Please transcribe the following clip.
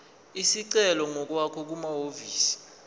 isicelo ngokwakho kumahhovisi